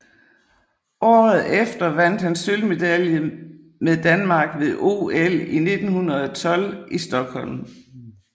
Året efter vandt han sølvmedalje med Danmark ved OL 1912 i Stockholm